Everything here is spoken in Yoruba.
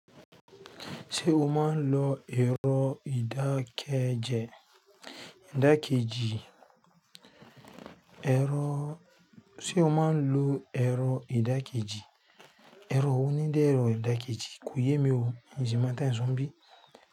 Ṣé o máa ń lo ẹ̀rọ ìdákẹ́jẹ ìdákẹ́jì? ẹ̀rọ--Ṣé o máa ń lo ẹ̀rọ ìdákẹ́jì? Ẹ̀rọ wo ni ń jẹ́ ẹ̀rọ ìdákejì. Kò yé mi o, n si mọ òun tí ẹ ń sọ níbí.